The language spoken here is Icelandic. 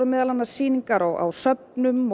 meðal annars sýningar á söfnum